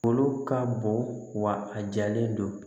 Kolo ka bon wa a jalen don